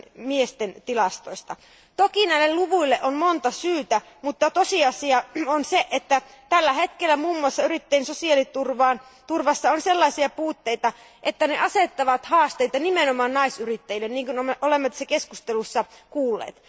miesten kasvuhalukkuudesta. Toki näille luvuille on monta syytä, mutta tosiasia on se, että tällä hetkellä muun muassa yrittäjien sosiaaliturvassa on sellaisia puutteita, että ne asettavat haasteita nimenomaan naisyrittäjille, niin kuin olemme tässä keskustelussa kuulleet.